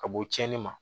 Ka bɔ cɛnnin ma